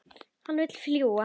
Hann vill fljúga.